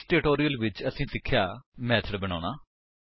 ਇਸ ਟਿਊਟੋਲਿਅਲ ਵਿੱਚ ਅਸੀਂ ਸਿੱਖਿਆ ਮੇਥਡ ਬਣਾਉਣਾ